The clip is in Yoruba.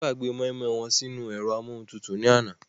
Wón gbàgbé mọ́ínmọ́ín won sínú u ẹ̀rọ amúohuntutù ní àná